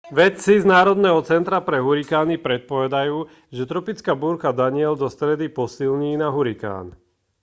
vedci z národného centra pre hurikány predpovedajú že tropická búrka danielle do stredy posilní na hurikán